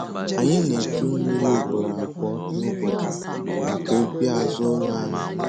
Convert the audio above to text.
Anyị na-echu mmiri ugboro abụọ nụbọchị maka ubi azụ ụlọ anyị